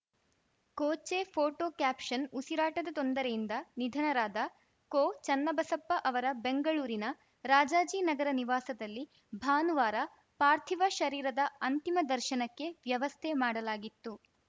ಕೋಚೆ photo caption ಉಸಿರಾಟದ ತೊಂದರೆಯಿಂದ ನಿಧನರಾದ ಕೋಚನ್ನಬಸಪ್ಪ ಅವರ ಬೆಂಗಳೂರಿನ ರಾಜಾಜಿನಗರ ನಿವಾಸದಲ್ಲಿ ಭಾನುವಾರ ಪಾರ್ಥಿವ ಶರೀರದ ಅಂತಿಮ ದರ್ಶನಕ್ಕೆ ವ್ಯವಸ್ಥೆ ಮಾಡಲಾಗಿತ್ತು